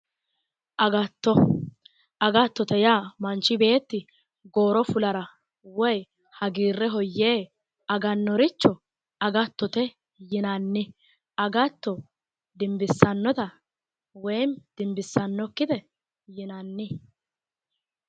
Agatto, agattotete yaa manchu beetti gooro fulara woy hagiirreho yee agannoricho agattote yinanni. Agatto dimbissannote woy dimbissannokkite yinanni.